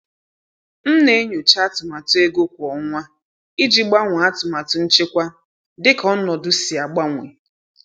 M na-enyocha atụmatụ ego kwa ọnwa iji gbanwee atụmatụ nchekwa dịka ọnọdụ si agbanwe.